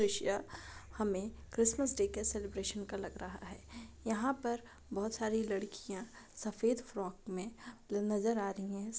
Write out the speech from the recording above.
दृश्य हमें Christmas day के सेलिब्रेशन का लग रहा है। यहाँ पर बहुत सारी लड़कियां सफेद फ्रॉक में नजर आ रही है। इस--